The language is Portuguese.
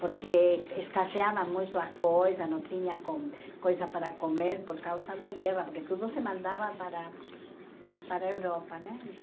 Porque escasseavam muito as coisas, não tinham com coisas para comer por causa da guerra, porque tudo se mandava para para a Europa, né? Então